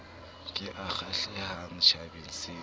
ke e kgahlehang tjhabeng se